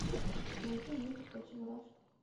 найти мультик про чебурашку